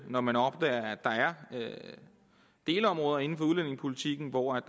når man opdager at der er delområder inden for udlændingepolitikken hvor der